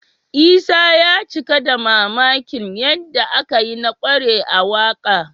Isa ya cika da mamakin yadda aka yi na ƙware a waƙa